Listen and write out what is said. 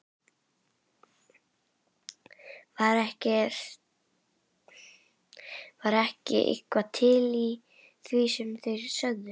Var ekki eitthvað til í því sem þeir sögðu?